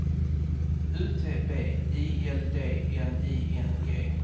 U T B I L D N I N G